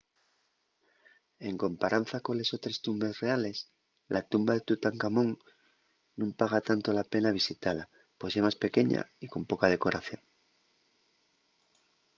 en comparanza coles otres tumbes reales la tumba de tutancamón nun paga tanto la pena visitala pos ye más pequeña y con poca decoración